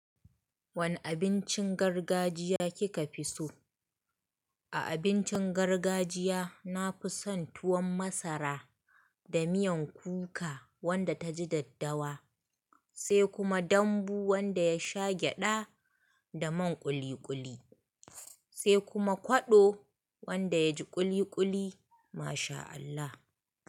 Wane abincin gargajiya kika fi so? A abincin gargajiya nafi son tuwon masara da miyan kuka wanda taji daddawa, sai kuma dambu wanda ya sha gyada da man kuli-kuli, sai kuma kwado wanda yaji kuli-kuli. Ma sha Allah.